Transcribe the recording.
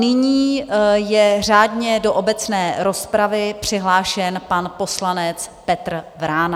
Nyní je řádně do obecné rozpravy přihlášen pan poslanec Petr Vrána.